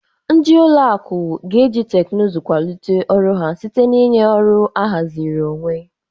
Ndị ụlọ akụ ga-eji teknụzụ kwalite ọrụ ha site na ịnye ọrụ ahaziri onwe.